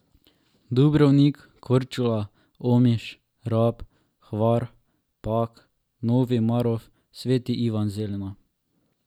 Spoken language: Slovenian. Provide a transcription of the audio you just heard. Dubrovnik, Korčula, Omiš, Rab, Hvar, Pag, Novi Marof, Sveti Ivan Zelina ...